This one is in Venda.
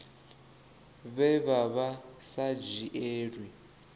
vhe vha vha sa dzhielwi